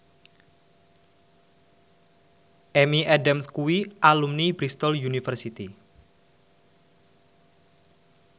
Amy Adams kuwi alumni Bristol university